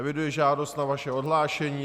Eviduji žádost na vaše odhlášení.